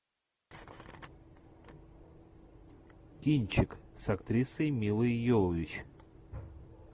кинчик с актрисой милой йовович